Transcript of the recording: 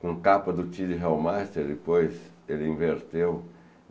Com capa do Tilly Hellmaster, depois ele inverteu.